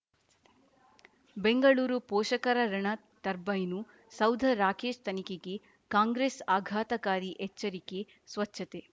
ಬೆಂಗಳೂರು ಪೋಷಕರಋಣ ಟರ್ಬೈನು ಸೌಧ ರಾಕೇಶ್ ತನಿಖೆಗೆ ಕಾಂಗ್ರೆಸ್ ಆಘಾತಕಾರಿ ಎಚ್ಚರಿಕೆ ಸ್ವಚ್ಛತೆ